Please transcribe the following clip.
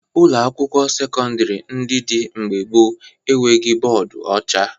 Ụlọakwụkwọ sekọndịrị ndị dị mgbe gboo e nweghi bọọdụ ọcha